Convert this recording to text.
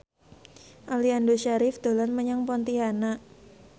Aliando Syarif dolan menyang Pontianak